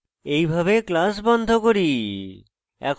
এইভাবে class বন্ধ করি